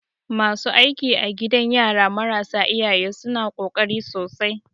Masu aiki a gidan yara marasa iyaye suna ƙoƙari sosai.